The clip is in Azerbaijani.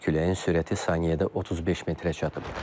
Küləyin sürəti saniyədə 35 metrə çatıb.